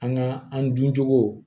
An ka an dun cogo